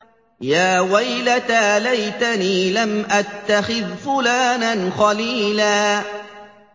يَا وَيْلَتَىٰ لَيْتَنِي لَمْ أَتَّخِذْ فُلَانًا خَلِيلًا